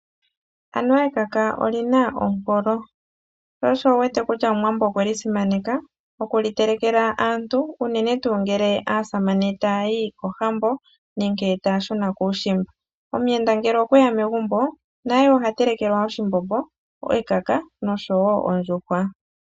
Anuwa ekaka olyina ompolo. Sho osho wu wete kutya omuwambo okwe li simaneka oku li telekela aantu uunene tuu ngele aasamane taa yi kohambo nenge taa shuna kuushimba. Omuyenda ngele okweya megumbo naye ohatelekelwa oshimbombo, ekaka nosho woo ondjuhwa.